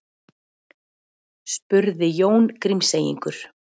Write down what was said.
spurði Jón Grímseyingur.